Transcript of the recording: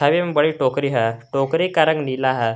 छवि में बड़ी टोकरी है टोकरी का रंग नीला है।